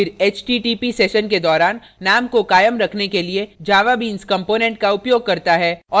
यह फिर http session के दौरान name को कायम रखने के लिए javabeans component का उपयोग करता है